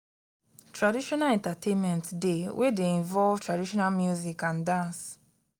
traditional entertainment de wey de involve traditional music and dance